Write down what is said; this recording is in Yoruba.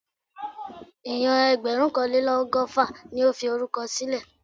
Èèyàn ẹgbẹ̀rúnkanlélọ́gọ́fà ni ó fi orúkọ sílẹ̀